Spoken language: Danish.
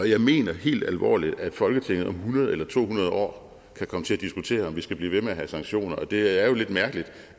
jeg mener helt alvorligt at folketinget om hundrede eller to hundrede år kan komme til at diskutere om vi skal blive ved med at have sanktioner det er jo lidt mærkeligt